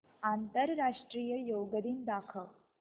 आंतरराष्ट्रीय योग दिन दाखव